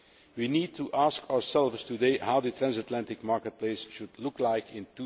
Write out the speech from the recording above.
We need to ask ourselves today what the transatlantic market place should look like in